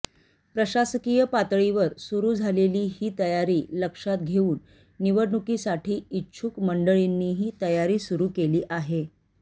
प्रशासकीय पातळीवर सुरू झालेली ही तयारी लक्षात घेऊन निवडणुकीसाठी इच्छुक मंडळींनीही तयारी सुरू केली आहे